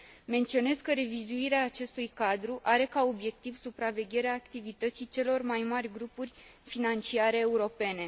Menționez că revizuirea acestui cadru are ca obiectiv supravegherea activității celor mai mari grupuri financiare europene.